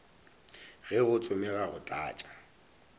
ge go tsomega go tlatša